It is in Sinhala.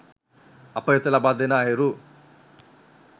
අප වෙත ලබාදෙන අයුරු